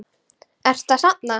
Ertu að safna?